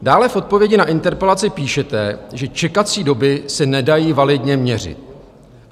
Dále v odpovědi na interpelaci píšete, že čekací doby se nedají validně měřit.